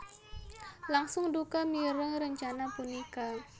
langsung duka mireng rencana punika